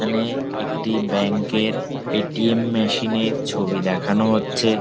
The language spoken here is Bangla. এখানে একটি ব্যাঙ্ক -এর এ. টি. এম. মেশিন এর ছবি দেখানো হচ্ছে।